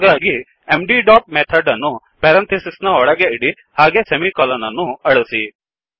ಹಾಗಾಗಿ MD dot method ಅನ್ನು parenthesis ನ ಒಳಗೆ ಇಡಿ ಹಾಗೇ ಸೆಮಿ ಕಲನ್ ಅನ್ನು ಅಳಿಸಿ